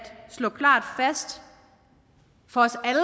slå klart fast for